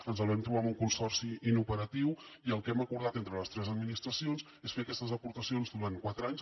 ens el vam trobar amb un consorci inoperatiu i el que hem acordat entre les tres administracions és fer aquestes aportacions durant quatre anys